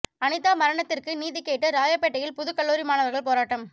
அனிதா மரணத்திற்கு நீதி கேட்டு ராயப்பேட்டையில் புது கல்லூரி மாணவர்கள் போராட்டம்